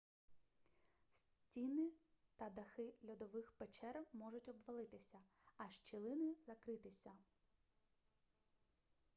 стіни та дахи льодових печер можуть обвалитися а щілини закритися